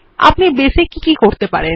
আপনি বেস এ কি কি করতে পারেন